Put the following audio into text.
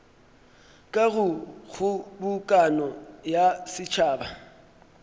ka go kgobokano ya setšhaba